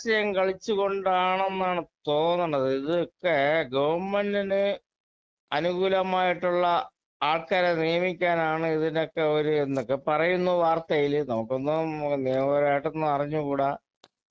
മാർ രാഷ്ട്രീയം കളിച്ചുകൊണ്ടാണെന്നാണ് തോന്നണത് ഇതൊക്കെ ഗവൺമെന്റിന് അനുകൂലമായിട്ടുള്ള ആൾക്കാരെ നിയമിക്കാനാണ് ഇതിനൊക്കെ ഒരു എന്നൊക്കെ പറയുന്നു വാർത്തയില് നമുക്കൊന്നും നിയമപരമായിട്ടൊന്നും അറിഞ്ഞുകൂട